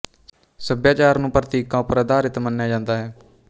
ਸੱਭਿਆਚਾਰ ਨੂੰ ਪ੍ਤੀਕਾਂ ਉਪਰ ਆਧਾਰਿਤ ਮੰਨਿਆ ਜਾਂਦਾ ਹੈ